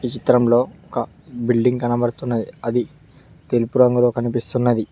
చిత్రంలో ఒక బిల్డింగ్ కనబడుతున్న అది తెలుపు రంగులో కనిపిస్తున్నది.